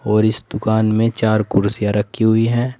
और इस दुकान में चार कुर्सियां रखी हुई है।